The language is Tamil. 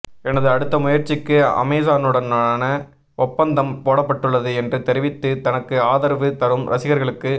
எனது அடுத்த முயற்சிக்கு அமேசானுடனான ஒப்பந்தம் போடப்பட்டுள்ளது என்று தெரிவித்து தனக்கு ஆத்ரவு தரும் ரசிகர்களுக்கு